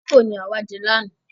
Kókò ni àwa jẹ lána.